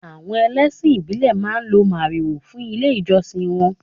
Àwọn ẹlẹ́sìn ìbílè máa ń lo màrìwò fún ilé ìjọsìn wọn.